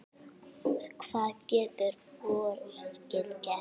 Hvað getur borgin gert?